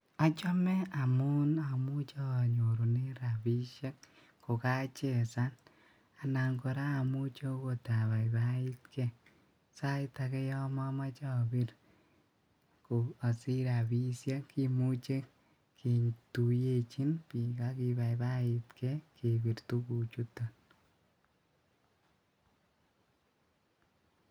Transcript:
Achome amuun amuche anyorunen rabishek ko kachesan anan kora amuche okot abaibaitkee, sait akee yoon momoche obiir asich rabishek kimuche ketuyechin biik akibaibaitkee kebir tukuchuton.